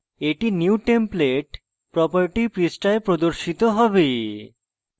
এটি new template property পৃষ্ঠায় প্রদর্শিত হবে